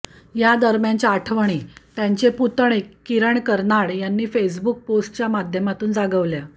यादरम्यानच्या आठवणी त्यांचे पुतणे किरण कर्नाड यांनी फेसबुक पोस्टच्या माध्यमातून जागवल्या